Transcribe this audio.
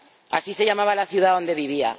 Así se llamaba la ciudad donde vivía.